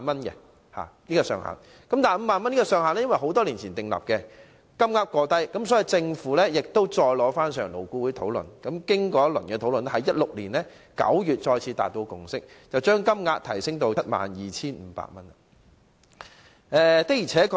由於此上限已是在多年前訂立，金額過低，所以政府再次提交建議予勞顧會討論，經過一輪討論後，在2016年9月再次達致共識，把上限提升至 72,500 元。